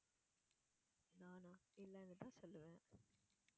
நானா இல்லைன்னுதான் சொல்லுவேன்